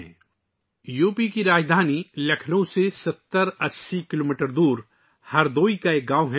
Bansa UP کے دارالحکومت لکھنؤ سے 7080 کلومیٹر دور ہردوئی کا ایک گاؤں ہے